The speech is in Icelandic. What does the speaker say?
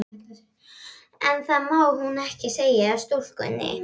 En það má hún ekki segja stúlkunni.